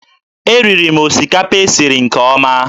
Eriri m osikapa e siri nke ọma